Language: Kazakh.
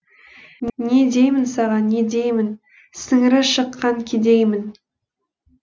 не деймін саған не деймін сіңірі шыққан кедеймін